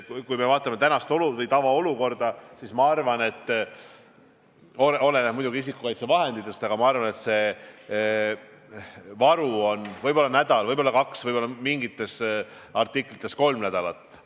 Kui me vaatame tavaolukorda, siis oleneb muidugi isikukaitsevahenditest, aga ma arvan, et see varu on võib-olla nädalaks, võib-olla kaheks, võib-olla mingite artiklite puhul kolmeks nädalaks.